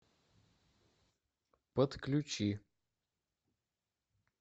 подключи